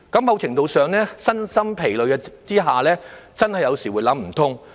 某程度上，在身心皆疲的情況下，他們有時真的會想不通。